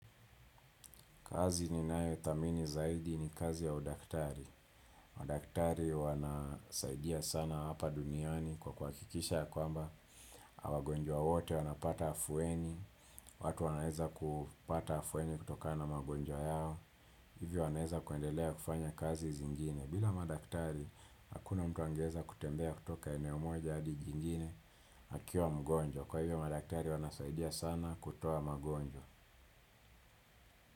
Kazi ninayoithamini zaidi ni kazi ya udaktari. Udaktari wanasaidia sana hapa duniani kwa kwa kuhakikisha ya kwamba. Wagonjwa wote wanapata afueni. Watu wanaeza kupata afueni kutokana na magonjwa yao. Hivyo wanaeza kuendelea kufanya kazi zingine. Bila madaktari hakuna mtu angeeza kutembea kutoka eneo moja hadi jingine akiwa mgonjwa. Kwa hivyo madaktari wanasaidia sana kutoa magonjwa.